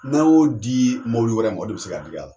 N'a' y'o dii mobili wɛrɛ mɔ o de be se ka dig'a la.